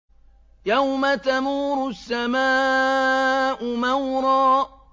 يَوْمَ تَمُورُ السَّمَاءُ مَوْرًا